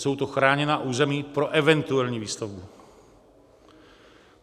Jsou to chráněná území pro eventuální výstavbu.